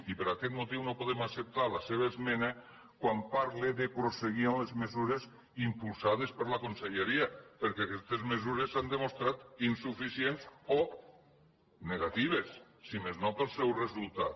i per aquest motiu no podem acceptar la seva esmena quan parla de prosseguir amb les mesures impulsades per la conselleria perquè aquestes mesures s’han demostrat insuficients o negatives si més no pel seu resultat